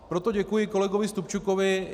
Proto děkuji kolegovi Stupčukovi.